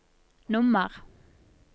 nummer